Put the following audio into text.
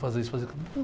Fazer isso, fazer aquilo.